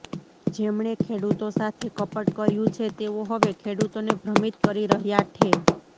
જેમણે ખેડૂતો સાથે કપટ કર્યું છે તેઓ હવે ખેડૂતોને ભ્રમિત કરી રહ્યા ઠે